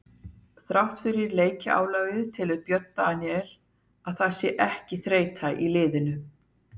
Þrátt fyrir leikjaálagið telur Björn Daníel að það sé ekki þreyta í liðinu.